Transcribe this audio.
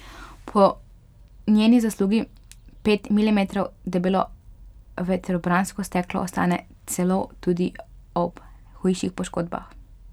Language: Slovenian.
Po njeni zaslugi pet milimetrov debelo vetrobransko steklo ostane celo tudi ob hujših poškodbah.